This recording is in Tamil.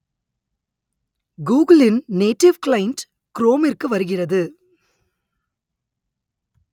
கூகுளின் நேட்டிவ் கிளைன்ட் குரோமிற்கு வருகிறது